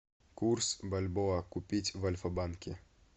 курс бальбоа купить в альфа банке